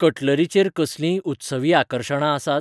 Cutlery chair कसलींय उत्सवी आकर्शणां आसात ?